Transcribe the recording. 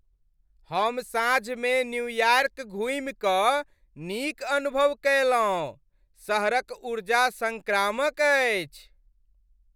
हम साँझमे न्यूयार्क घुमि कऽ नीक अनुभव कयलहुँ। शहरक ऊर्जा संक्रामक अछि।